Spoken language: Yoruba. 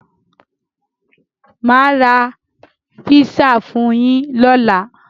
Máa ra písà fún yín lóla.